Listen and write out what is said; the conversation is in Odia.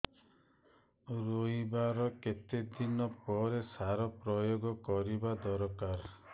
ରୋଈବା ର କେତେ ଦିନ ପରେ ସାର ପ୍ରୋୟାଗ କରିବା ଦରକାର